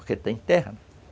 Porque tem terra.